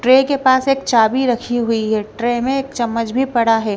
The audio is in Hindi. ट्रे के पास एक चाबी रखी हुई है ट्रे में एक चम्मच भी पड़ा है।